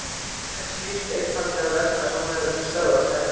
jörðin snýst einfaldlega vegna þess að hún hefur ekki stöðvast enn!